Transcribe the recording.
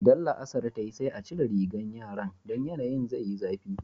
Idan la'asar ta yi sai a cire rigan yaran, don yanayin zai yi zafi.